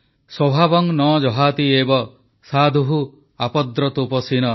ସ୍ୱଭାବଂ ନ ଯହାତି ଏବ ସାଧୁଃ ଆପଦ୍ରତୋପୀସନ